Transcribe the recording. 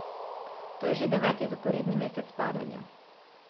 To je že deveti zaporedni mesec padanja.